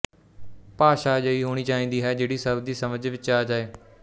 ਭਾਸ਼ਾ ਅਜਿਹੀ ਹੋਣੀ ਚਾਹੀਦੀ ਹੈ ਜਿਹੜੀ ਸਭ ਦੀ ਸਮਝ ਵਿੱਚ ਆ ਜਾਏ